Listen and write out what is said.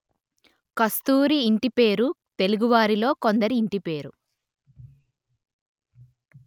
కస్తూరి ఇంటి పేరు తెలుగువారిలో కొందరి ఇంటి పేరు